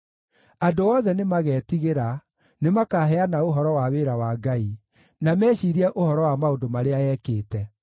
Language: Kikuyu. Andũ othe nĩmagetigĩra; nĩmakaheana ũhoro wa wĩra wa Ngai, na meciirie ũhoro wa maũndũ marĩa ekĩte.